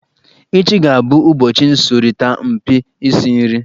Echi ga-abụ ụbọchị nsọrita mpi isi nri.